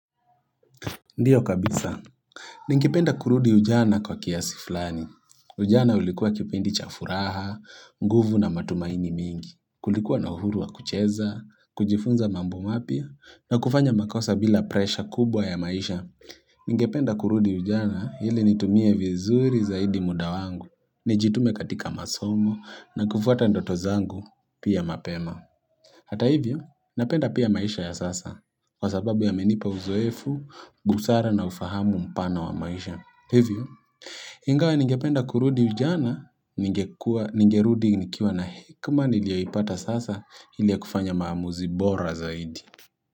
Ndiyo kabisa, ningependa kurudi ujana kwa kiasi fulani. Ujana ulikuwa kipindi cha furaha, nguvu na matumaini mingi, kulikuwa na uhuru wa kucheza, kujifunza mambo mapya na kufanya makosa bila presha kubwa ya maisha. Ningependa kurudi ujana ili nitumie vizuri zaidi muda wangu, nijitume katika masomo na kufuata ndoto zangu pia mapema. Hata hivyo, napenda pia maisha ya sasa, kwa sababu yamenipa uzoefu, busara na ufahamu mpana wa maisha. Hivyo, ingawa ningependa kurudi ujana, nigerudi nikiwa na hekima niliyoipata sasa ili ya kufanya maamuzi bora zaidi.